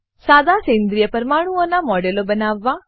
સાદા સેન્દ્રિય પરમાણુઓનાં મોડેલો બનાવવા